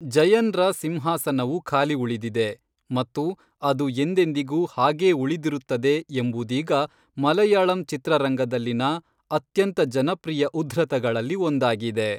ಜಯನ್ರ ಸಿಂಹಾಸನವು ಖಾಲಿ ಉಳಿದಿದೆ ಮತ್ತು ಅದು ಎಂದೆಂದಿಗೂ ಹಾಗೇ ಉಳಿದಿರುತ್ತದೆ ಎಂಬುದೀಗ ಮಲೆಯಾಳಂ ಚಿತ್ರರಂಗದಲ್ಲಿನ ಅತ್ಯಂತ ಜನಪ್ರಿಯ ಉದ್ಧೃತಗಳಲ್ಲಿ ಒಂದಾಗಿದೆ.